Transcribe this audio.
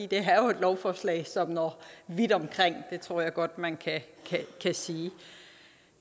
det er jo et lovforslag som når vidt omkring det tror jeg godt man kan sige